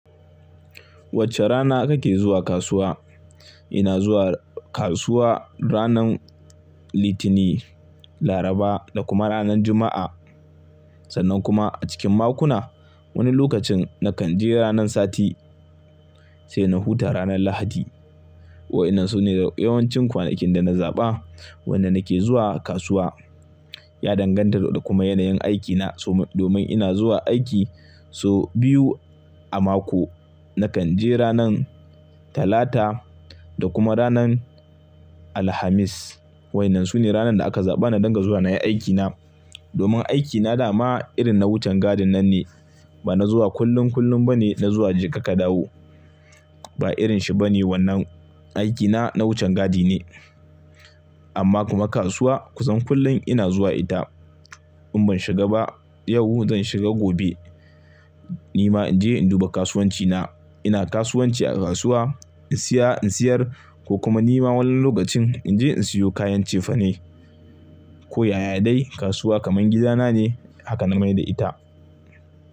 Wacce rana kake zuwa kasuwa? Ina zuwa kasuwa ranar Litini, Laraba da kuma ranar Juma'a. Sannan kuma a cikin makona wani lokacin na kan je ranar sati sai na huta ranar Lahadi. Wa'inan sune yawancin kwanakin da na zaɓa wanda nake zuwa kasuwa. Ya danganta da kuma yanayin aikina. Domin ina zuwa aiki so biyu a mako, na kan je ranar Talata da kuma ranar Alhamis. Wa'inan sune ranar da aka zaɓa na dinga zuwa nayi aikina. Domin aikina dama irin na wucan gadin nan ne. Ba na zuwa kullum kullum ba ne na zuwa jeka ka dawo. Ba irin shi ba ne wannan. Aikina na wucin gadi ne. Amma kuma kasuwa ku san kullum ina zuwa ita. In ban shiga ba yau zan shiga gobe. Nima in je in duba kasuwancina. Ina kasuwanci a kasuwa, in siya in siyar ko kuma nima wani lokacin in je in siyo kayan cefane ko yaya dai kasuwa kaman gida na ne. Haka na mai da ita.